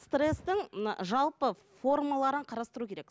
стресстің мына жалпы формаларын қарастыру керек